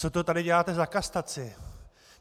Co to tady děláte za kastaci?